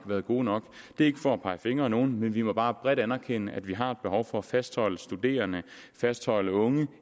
været gode nok det er ikke for at pege fingre af nogen men vi må bare bredt anerkende at vi har et behov for at fastholde studerende fastholde unge